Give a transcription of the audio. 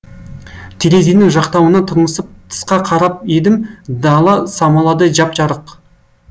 терезенің жақтауынан тырмысып тысқа қарап едім дала самаладай жап жарық